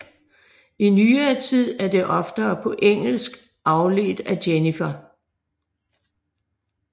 I nyere tid er det oftere på engelsk afledt af Jennifer